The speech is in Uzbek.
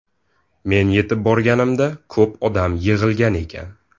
Men yetib borganimda ko‘p odam yig‘ilgan ekan.